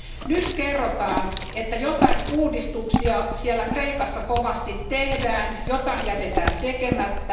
Nyt kerrotaan, että joitain uudistuksia siellä Kreikassa kovasti tehdään, joitain jätetään tekemättä.